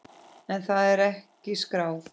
En það er ekki skráð.